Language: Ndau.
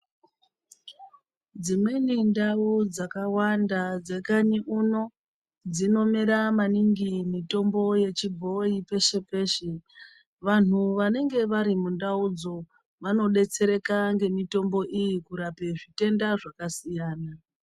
Dzi mweni ndau dzaka wanda dze kanyi uno dzino mera maningi mitombo yechi bhoyi peshe peshe vanhu vanenge vari mundau dzoo vano detsereka nge mitombo iyi kurape zvitenda zvaka siyana.